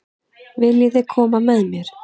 Viljiði koma með mér?